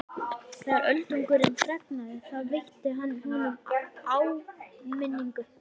Þegar Öldungurinn fregnaði það veitti hann honum áminningu.